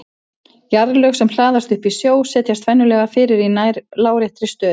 Jarðlög sem hlaðast upp í sjó setjast venjulega fyrir í nær láréttri stöðu.